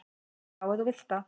"""Já, ef þú vilt það."""